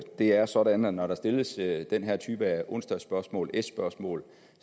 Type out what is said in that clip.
det er sådan at når der stilles den her type onsdagsspørgsmål tyve spørgsmål